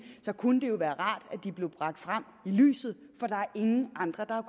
kunne det jo være rart at de blev bragt frem i lyset for der er ingen andre der